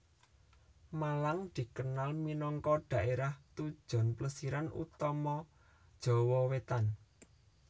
Malang dikenal minangka dhaérah tujon plesiran utama Jawa Wétan